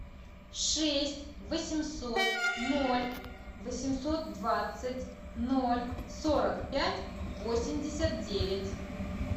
шесть восемьсот ноль восемьсот двадцать ноль сорок пять восемьдесят девять